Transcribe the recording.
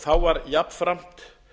þá var jafnframt